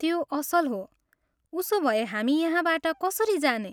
त्यो असल हो। उसो भए हामी यहाँबाट कसरी जाने?